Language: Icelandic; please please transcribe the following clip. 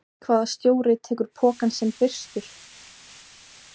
Hvaða stjóri tekur pokann sinn fyrstur?